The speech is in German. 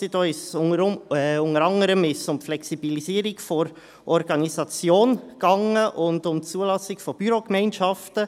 Unter anderem ging es um die Flexibilisierung der Organisation und um die Zulassung von Bürogemeinschaften.